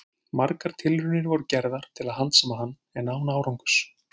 Margar tilraunir voru gerðar til að handsama hann, en án árangurs.